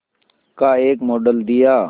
का एक मॉडल दिया